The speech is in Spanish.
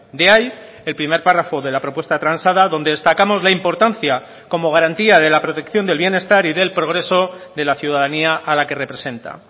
de ahí el primer párrafo de la propuesta transada donde destacamos la importancia como garantía de la protección del bienestar y del progreso de la ciudadanía a la que representa